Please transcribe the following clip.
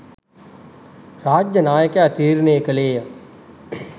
රාජ්‍ය නායකයා තීරණය කළේය.